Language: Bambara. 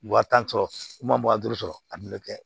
Wa tan sɔrɔ wa duuru sɔrɔ a bi kɛ